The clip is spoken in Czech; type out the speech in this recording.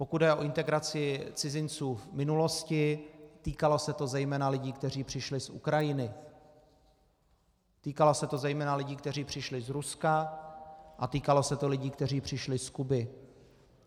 Pokud jde o integraci cizinců v minulosti, týkalo se to zejména lidí, kteří přišli z Ukrajiny, týkalo se to zejména lidí, kteří přišli z Ruska, a týkalo se to lidí, kteří přišli z Kuby.